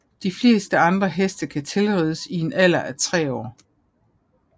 De fleste andre heste kan tilrides i en alder af tre år